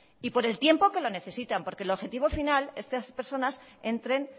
y por el tiempo que lo necesitan porque el objetivo final es que estas personas entren